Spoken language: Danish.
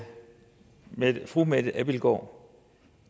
fru mette abildgaard